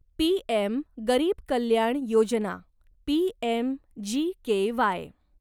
PM गरीब कल्याण योजना पीएमजीकेवाय